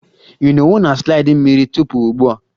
Ị nọwo na slide mmiri tupu ugbua?